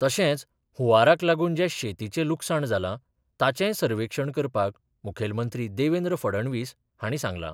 तशेंच हुंवाराक लागून जें शेतीचें लुकसाण जालां ताचेंय सर्वेक्षण करपाक मुखेलमंत्री देवेंद्र फडणवीस हांणी सांगलां.